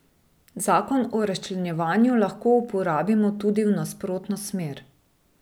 Zakon o razčlenjevanju lahko uporabimo tudi v nasprotno smer.